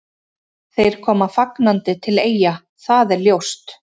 Þeir koma fagnandi til Eyja, það er ljóst.